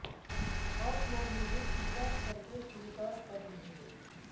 आप लोग मुझे कृपा करके स्वीकार कर लीजिये